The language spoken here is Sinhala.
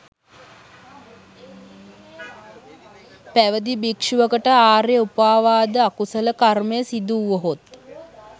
පැවිදි භික්‍ෂුවකට ආර්ය උපවාද අකුසල කර්මය සිදු වුවහොත්